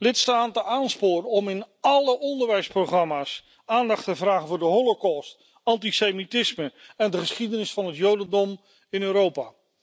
lidstaten aansporen om in alle onderwijsprogramma's aandacht te vragen voor de Holocaust, antisemitisme en de geschiedenis van het Jodendom in Europa